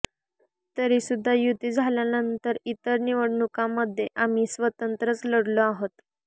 तरीसुद्धा युती झाल्यानंतर इतर निवडणुकांमध्ये आम्ही स्वतंत्रच लढलो आहोत